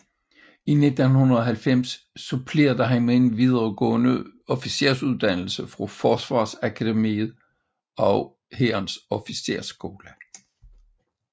I 1990 supplerede han med en videregående officersuddannelse fra Forsvarsakademiet og Hærens Officersskole